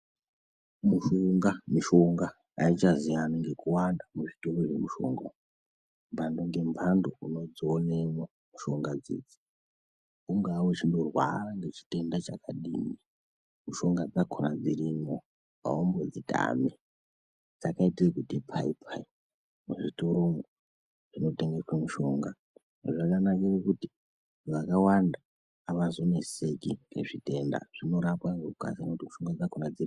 Mishonga, mishonga aichaziyani ngekuwanda muzvitoro zvemishonga umwo. Mhando ngemhando unodzionemwo mushonga dzidzi. Ungaa nechitenda chakadini, mutombo dzakhona dzirimwo aumbodzitami. Dzakaita ekuti pai pai muzvitoromwo munotengeswa mushonga. Izvi zvakanakira kuti vantu vakawanda avazoneseki ngezvitenda. Zvinorapwa ngemushonga dzacho.